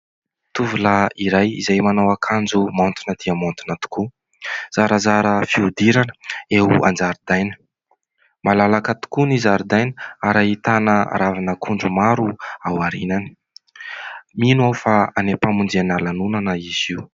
Tovolahy iray izay manao akanjo maontina dia maontina tokoa, zarazara fihodirana, eo an-jaridaina. Malalaka tokoa ny zaridaina ary ahitana ravin'akondro maro aorianany. Mino aho fa any am-pamonjena lanonana izy io.